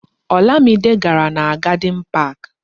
Olamide gàrà na Garden Park